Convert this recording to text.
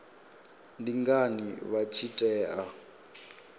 ndi ngani vha tshi tea